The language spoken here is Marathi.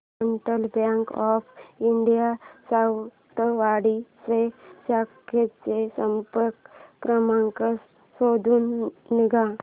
central bank of India Sawantwadi च्या शाखेचा संपर्क क्रमांक शोधून सांग